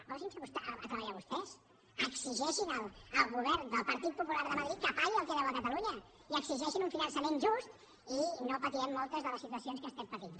posin se a treballar vostès exigeixin al govern del partit popular de madrid que pagui el que deu a catalunya i exigeixin un finançament just i no patirem moltes de les situacions que estem patint